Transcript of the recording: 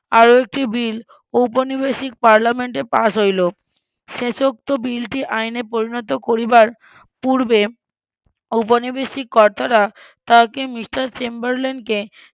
আরও একটি বিল উপনিবেশিক পার্লামেন্টে পাশ হইল শেষোক্ত বিলটি আইনে পরিণত করিবার পূর্বে উপনিবেশিক কর্তারা তাকে মিস্টার চেম্বারলেনকে